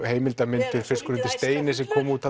heimildarmyndir fiskur undir steini sem kom út